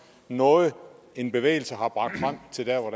noget som en bevægelse har bragt frem til der hvor